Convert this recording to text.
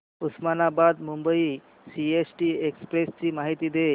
Osmanabad Mumbai CST express ची माहिती दे